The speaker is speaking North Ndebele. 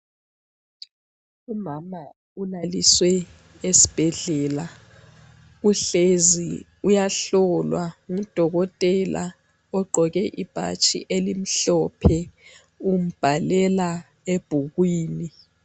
Umama ulaliswe esibhedlela uhlezi uyahlolwa ngudokotela ogqoke ibhatshi elimhlophe, umbhalela ebhukwini.